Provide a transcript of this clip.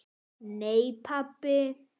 Nei pabbi.